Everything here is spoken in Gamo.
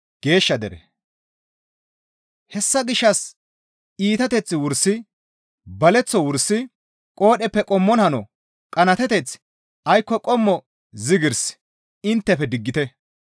Hessa gishshas iitateth wursi, baleththo wursi, qoodheppe qommon hano, qanaateteth aykko qommo zigirs inttefe diggite.